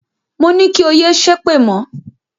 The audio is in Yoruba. Moní kí o yé ṣépè mọ̀!